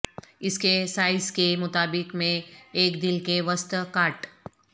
اس کے سائز کے مطابق میں ایک دل کے وسط کاٹ